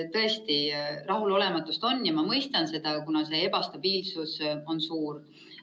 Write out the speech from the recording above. Tõesti, rahulolematust on ja ma mõistan seda, kuna ebastabiilsus on suur.